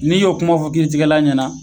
N'i y'o kuma fɔ kiiritigɛla ɲɛna